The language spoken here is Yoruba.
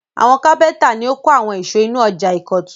Àwọn kápẹ́ńtà ni ó kọ́ àwọn ìsọ̀ inú ọjà ìkọ̀tún.